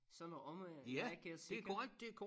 Sønder Omme er ikke også ikke